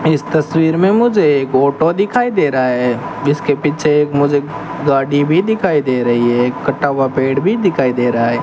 इस तस्वीर में मुझे एक ऑटो दिखाई दे रहा है जिसके पीछे एक मुझे गाड़ी भी दिखाई दे रही है एक कटा हुआ पेड़ भी दिखाई दे रहा --